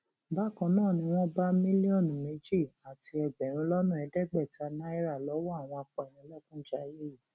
bákan náà ni wọn bá mílíọnù méjì àti ẹgbẹrún lọnà ẹẹdẹgbẹta náírà lọwọ àwọn apánilékunjayé yìí